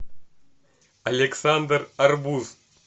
александр арбуз